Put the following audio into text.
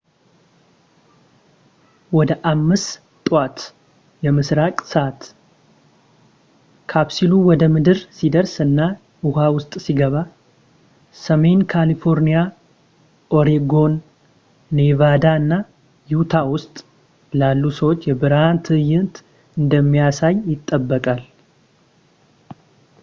ወደ 5ጠዋት የምስራቅ ሰዓት ካፕሱሉ ወደ ምድር ሲደርስ እና ህዋ ውስጥ ሲገባ፣ ሰሜን ካሊፎርኒያ፣ ኦሬጎን፣ ኔቫዳ እና ዩታ ውስጥ ላሉ ሰዎች የብርሃን ትዕይንት እንደሚያሳይ ይጠበቃል